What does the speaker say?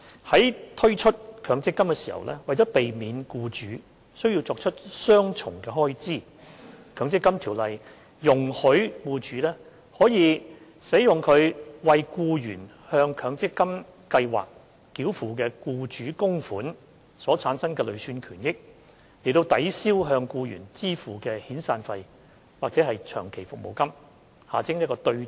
在推出強積金計劃時，為避免僱主需要作出雙重開支，該條例容許僱主可使用其為僱員向強積金計劃繳付的僱主供款所產生的累算權益，抵銷向僱員支付的遣散費或長期服務金。